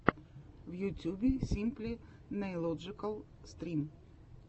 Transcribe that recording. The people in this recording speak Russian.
в ютьюбе симпли нейлоджикал стрим